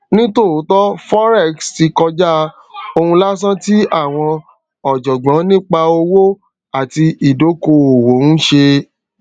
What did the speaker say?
ni tòótọ [forex tí kọjá oun lásán tí àwọn ọjọgbọn nípa owó àti ìdókoòwò ń ṣe